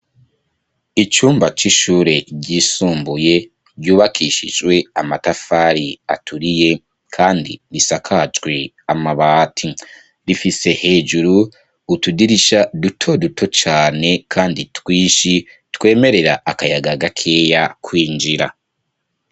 Icumba cishure ryisumbuye ryubakishijwe amatafari aturiye kandi risakajwe amabati, rifise hejuru utudirisha duto duto cane kandi twinshi twemerera akayaga gakeya kwinjira.